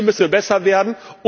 Hier müssen wir besser werden.